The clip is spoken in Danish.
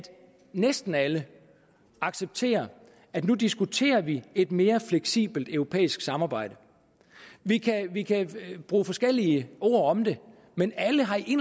næsten alle accepterer at nu diskuterer vi et mere fleksibelt europæisk samarbejde vi kan bruge forskellige ord om det men alle har i